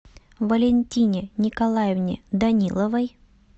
валентине николаевне даниловой